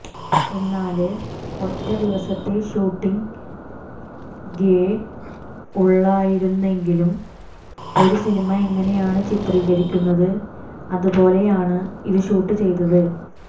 എന്നാല് ഒറ്റ ദിവസത്തെ ഷൂട്ടിംഗേ ഉള്ളായിരുന്നെങ്കിലും ഒരു സിനിമ എങ്ങനെയാണ് ചിത്രീകരിക്കുന്നത് അത് പോലെയാണ് ഇത് ഷൂട്ട് ചെയ്തത്